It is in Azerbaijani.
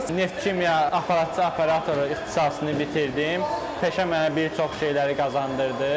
Neft kimya, aparatçı operatoru ixtisasını bitirdim, peşə mənə bir çox şeyləri qazandırdı.